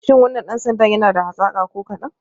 Shi wannan dan sandan yana da hazaka ko kadan?